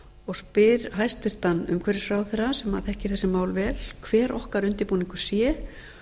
og spyr hæstvirtur umhverfisráðherra sem þekkir þessi má l vel hver okkar undirbúningur sé